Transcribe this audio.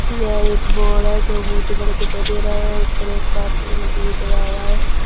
यह एक बोर्ड जो बहुत बड़े दिखाई दे रहा है उसे पर एक कार्टून भी हुआ है।